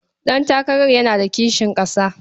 Ɗantakarar yana da kishin ƙasa.